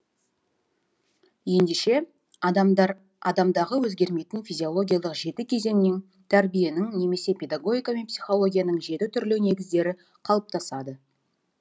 ендеше адамдар адамдағы өзгермейтін физиологиялық жеті кезеңнен тәрбиенің немесе педагогика мен психологияның жеті түрлі негіздері қалыптасады